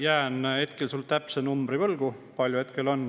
Jään sulle võlgu täpse numbri, kui palju neid hetkel on.